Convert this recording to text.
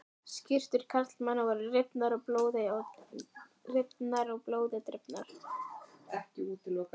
Skyrtur karlmannanna voru rifnar og blóði drifnar.